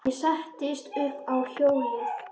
Ég settist upp á hjólið.